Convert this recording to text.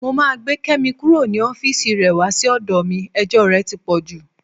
Mo máa gbé Kẹ́mi kúrò ní ọ́fíìsì rẹ wá sí ọ̀dọ̀ mi, ẹjọ́ rẹ ti pọ̀ jù.